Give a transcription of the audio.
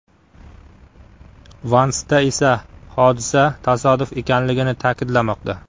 Van Sta esa hodisa tasodif ekanligini ta’kidlamoqda.